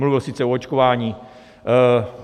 Mluvil sice o očkování.